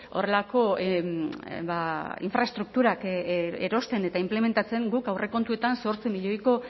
horrelako infraestrukturak erosten eta inplementatzen guk aurrekontuetan zortzi milioiko